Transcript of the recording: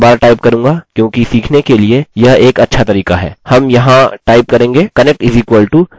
लेकिन हमारे ट्यूटोरियल के लिए मैं इसको बारबार टाइप करूँगा क्योंकि सीखने के लिए यह एक अच्छा तरीका है